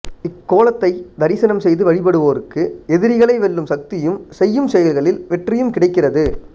இக்கோலத்தை தரிசனம் செய்து வழிபடுவோருக்கு எதிரிகளை வெல்லும் சக்தியும் செய்யும் செயல்களில் வெற்றியும் கிடைக்கிறது